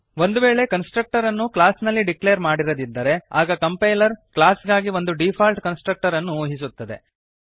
ಒಂದು ವೇಳೆ ಕನ್ಸ್ಟ್ರಕ್ಟರನ್ನು ಕ್ಲಾಸ್ ನಲ್ಲಿ ಡಿಕ್ಲೇರ್ ಮಾಡಿರದಿದ್ದರೆ ಆಗ ಕಂಪೈಲರ್ ಕ್ಲಾಸ್ ಗಾಗಿ ಒಂದು ಡೀಫಾಲ್ಟ್ ಕನ್ಸ್ಟ್ರಕ್ಟರನ್ನು ಊಹಿಸುತ್ತದೆ